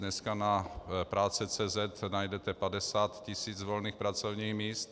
Dnes na prace.cz najdete 50 tis. volných pracovních míst.